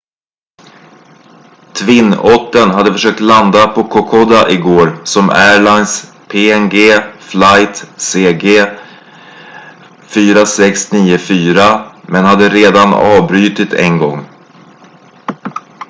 twin ottern hade försökt landa på kokoda igår som airlines png flight cg 4694 men hade redan avbrutit en gång